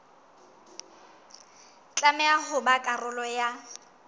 tlameha ho ba karolo ya